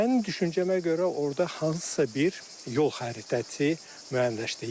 Mən düşüncəmə görə orda hansısa bir yol xəritəsi müəyyənləşdi.